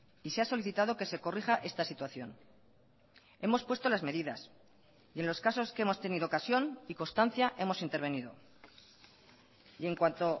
y se ha solicitado que se corrija esta situación hemos puesto las medidas y en los casos que hemos tenido ocasión y constancia hemos intervenido y en cuanto